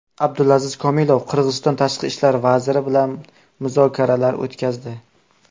Abdulaziz Komilov Qirg‘iziston tashqi ishlar vaziri bilan muzokaralar o‘tkazdi.